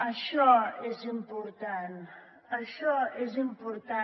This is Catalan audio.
això és important això és important